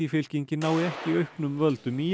fylkingin nái ekki auknum völdum í